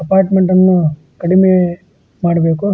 ಅಪಾರ್ಟ್ಮೆಂಟನ್ನು ಕಡಿಮೆ ಎ ಮಾಡಬೇಕು --